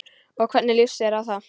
Og hvernig lýsti það sér?